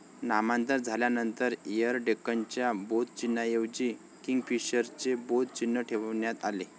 नामांतर झाल्यानंतर एयर डेक्कनच्या बोधचिन्हाऐवजी किंगफिशरचे बोध चिन्ह ठेवण्यात आले.